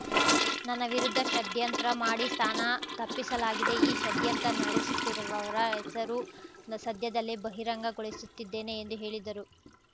ನನ್ನ ವಿರುದ್ಧ ಷಡ್ಯಂತ್ರ ಮಾಡಿ ಸ್ಥಾನ ತಪ್ಪಿಸಲಾಗಿದೆ ಈ ಷಡ್ಯಂತ್ರ ನಡೆಸುತ್ತಿರುವವರ ಹೆಸರು ಸದ್ಯದಲ್ಲೇ ಬಹಿರಂಗಗೊಳಿಸುತ್ತಿದ್ದೇನೆ ಎಂದು ಹೇಳಿದರು